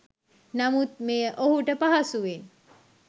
නමුත් මෙය ඔහුට පහසුවෙන්